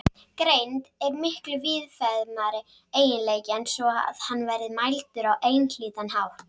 Greind er miklu víðfeðmari eiginleiki en svo að hann verði mældur á einhlítan hátt.